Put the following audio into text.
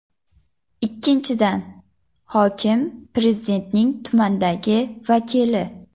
Ikkinchidan, hokim Prezidentning tumandagi vakili.